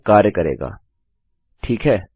अब यह कार्य करेगा ठीक है